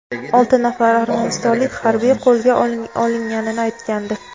olti nafar armanistonlik harbiy qo‘lga olinganini aytgandi.